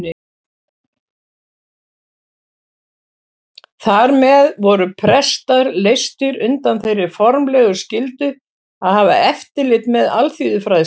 Þar með voru prestar leystir undan þeirri formlegu skyldu að hafa eftirlit með alþýðufræðslu.